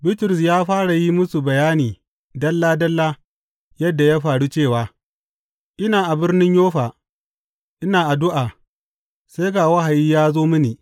Bitrus ya fara yin musu bayani dalla dalla yadda ya faru cewa, Ina a birnin Yoffa ina addu’a, sai ga wahayi ya zo mini.